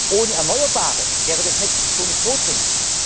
Zentralalpen. Ohne Erneuerbare wäre das Netz so nicht